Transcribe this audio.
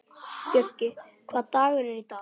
Bjöggi, hvaða dagur er í dag?